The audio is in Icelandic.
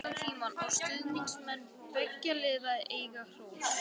Það var sungið allan tímann og stuðningsmenn beggja liða eiga hrós.